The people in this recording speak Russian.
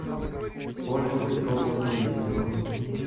ольгу петровну колесникову